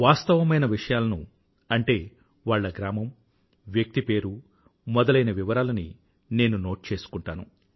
వాస్తవమైన విషయాలను అంటే వాళ్ల గ్రామం వ్యక్తి పేరు మొదలైన వివరాలని నోట్ చేసుకుంటాను